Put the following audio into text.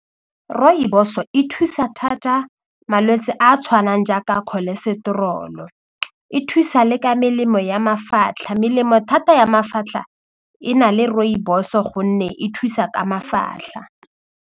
Rooibos-o e thusa thata malwetse a a tshwanang jaaka cholesterol-o e thusa le ka melemo ya mafatlha melemo thata ya mafatlha e na le rooibos-o gonne e thusa ka mafatlha.